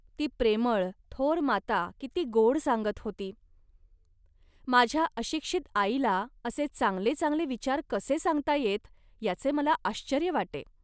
ती प्रेमळ, थोर माता किती गोड सांगत होती. माझ्या अशिक्षित आईला असे चांगले चांगले विचार कसे सांगता येत, याचे मला आश्चर्य वाटे